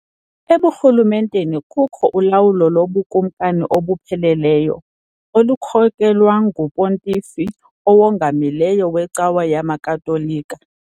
EbuRhulumenteni kukho ulawulo lobukumkani obupheleleyo , olukhokelwa nguPontifi Owongamileyo weCawa yamaKatolika .